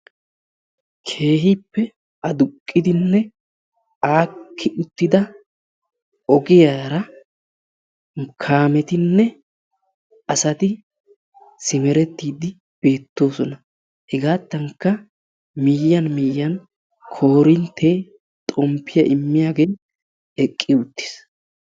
Keehippe aduqqidinne aakki uttida ogiyara kaametinne asati simerettiyddi beettoosona. Hegaattankka miyyiyan miyyiyan koorinttee xomppiya immiyagee eqqi uttiis.